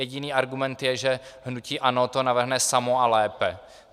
Jediný argument je, že hnutí ANO to navrhne samo a lépe.